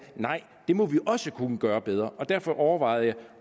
nej det må vi også kunne gøre bedre derfor overvejede